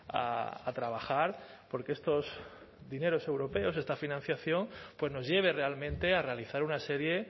a trabajar por que estos dineros europeos esta financiación pues nos lleve realmente a realizar una serie